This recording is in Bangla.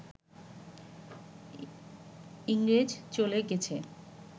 ইংরেজ চলে গেছে